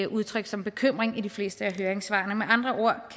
udtryk som bekymring i de fleste af høringssvarene med andre ord